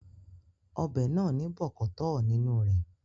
Ọbẹ̀ náà ní bọ̀kọ̀tọ́ọ̀ nínú re